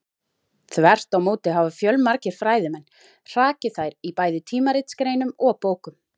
Þvert á móti hafa fjölmargir fræðimenn hrakið þær í bæði tímaritsgreinum og bókum.